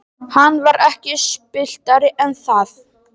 Hann var ekki spilltari en það.